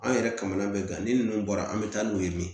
An yɛrɛ kamana bɛ kan ni ninnu bɔra an bɛ taa n'u ye